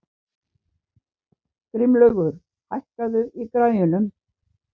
Grímlaugur, hækkaðu í græjunum.